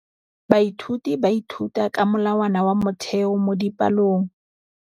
Baithuti ba ithuta ka molawana wa motheo mo dipalong.